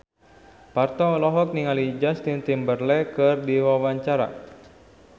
Parto olohok ningali Justin Timberlake keur diwawancara